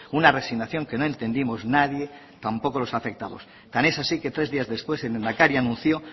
una resignación que no entendimos nadie tampoco los afectados tan es así que tres días después el lehendakari anunció